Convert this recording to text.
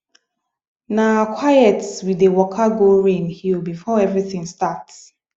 na quiet we dey waka go rain hill before everything start